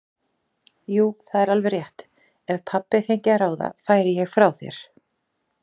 Jú, það er alveg rétt, ef pabbi fengi að ráða færi ég frá þér.